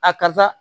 A kasa